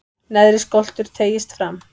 neðri skoltur teygist fram